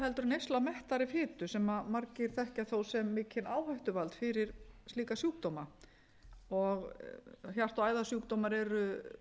en neysla af mettaðri fitu sem margir þekkja þó sem mikinn áhættuvald fyrir slíka sjúkdóma hjarta og æðasjúkdómar eru